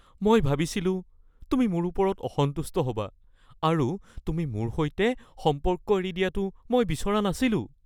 মই ভাবিছিলোঁ তুমি মোৰ ওপৰত অসন্তুষ্ট হ'বা আৰু তুমি মোৰ সৈতে সম্পৰ্ক এৰি দিয়াটো মই বিচৰা নাছিলোঁ (দেউতাক)